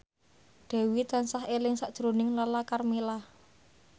Dewi tansah eling sakjroning Lala Karmela